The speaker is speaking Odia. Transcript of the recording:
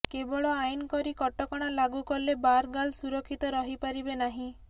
କେବଳ ଆଇନ କରି କଟକଣା ଲାଗୁ କଲେ ବାରଗାର୍ଲ ସୁରକ୍ଷିତ ରହିପାରିବେ ନାହିଁ